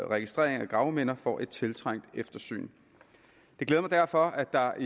registrering af gravminder får et tiltrængt eftersyn det glæder mig derfor at der